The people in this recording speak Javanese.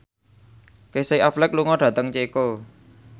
Casey Affleck lunga dhateng Ceko